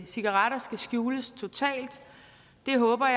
cigaretter skal skjules totalt det håber